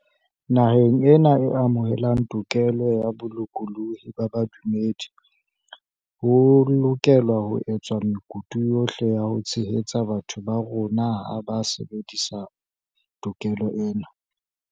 Naheng ena e amohelang tokelo ya bolokolohi ba bodumedi, ho lokelwa ho etswa mekutu yohle ya ho tshehetsa batho ba bo rona ha ba sebedisa to kelo ena.